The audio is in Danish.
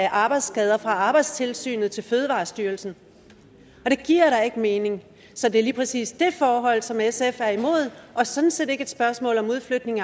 arbejdsskader fra arbejdstilsynet til fødevarestyrelsen og det giver da ikke mening så det er lige præcis det forhold som sf er imod og sådan set ikke et spørgsmål om udflytning